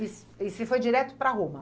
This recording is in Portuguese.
E e você foi direto para Roma?